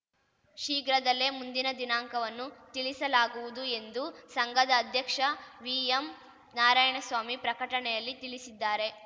ಶೀಘ್ರದಲ್ಲೇ ಮುಂದಿನ ದಿನಾಂಕವನ್ನು ತಿಳಿಸಲಾಗುವುದು ಎಂದು ಸಂಘದ ಅಧ್ಯಕ್ಷ ವಿಎಂ ನಾರಾಯಣಸ್ವಾಮಿ ಪ್ರಕಟಣೆಯಲ್ಲಿ ತಿಳಿಸಿದ್ದಾರೆ